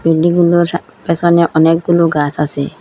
বেদীগুলোর সাম পেসনে অনেকগুলো গাস আসে ।